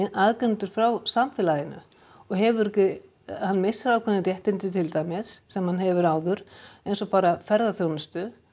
aðgreindur frá samfélaginu og hefur ekki hann missir ákveðin réttindi til dæmis sem hann hefur áður eins og bara ferðaþjónustu